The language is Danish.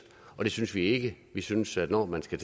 det synes vi ikke vi synes at når man skal